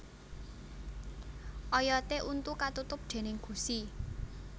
Oyoté untu katutup déning gusi